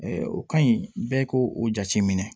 o ka ɲi bɛɛ k'o o jateminɛ